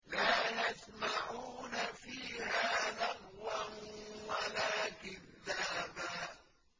لَّا يَسْمَعُونَ فِيهَا لَغْوًا وَلَا كِذَّابًا